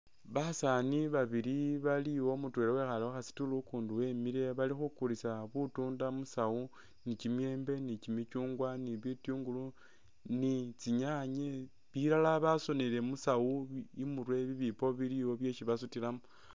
Basani babili baliwo mutwela wekhale khu kha stool ukundi wemile balikhukulisa butunda musawu ni kyimiyembe ni kyimikyungwa ni bitungulu ni tsinyanye bilala basonele musawu imurwe bibipo biliwo byesi basutilamo.